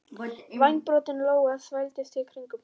Vængbrotin lóa þvældist í kringum þá.